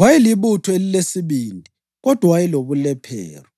Wayelibutho elilesibindi, kodwa wayelobulephero.